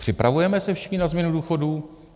Připravujeme se všichni na změnu důchodů?